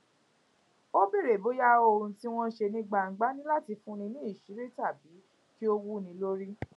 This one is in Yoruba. ó béèrè bóyá ohun tí wọn n ṣe ní gbangba ní láti fúnni níṣìírí tàbí kí ó wúni lórí